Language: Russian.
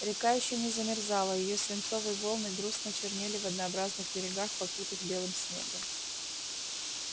река ещё не замерзала её свинцовые волны грустно чернели в однообразных берегах покрытых белым снегом